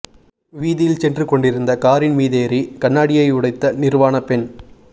வீதியில் சென்று கொண்டிருந்த காரின் மீதேறி கண்ணாடியை உடைத்த நிர்வாண பெண்